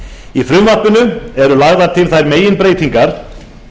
í frumvarpinu eru lagðar til þær meginbreytingar